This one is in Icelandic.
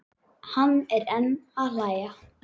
Hann er enn að hlæja.